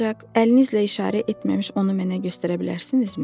Ancaq əlinizlə işarə etməmiş onu mənə göstərə bilərsinizmi?